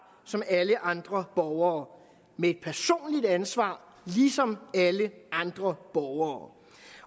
som alle andre borgere med et personligt ansvar ligesom alle andre borgere